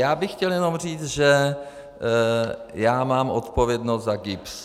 Já bych chtěl jenom říct, že já mám odpovědnost za GIBS.